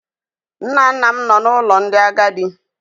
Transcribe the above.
Nna nna m nọ na ụlọ ndị agadi.